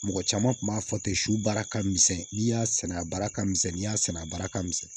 Mɔgɔ caman tun b'a fɔ ten su baara ka misɛn n'i y'a sɛnɛ a baara ka misɛn n'i y'a sɛnɛ a baara ka misɛn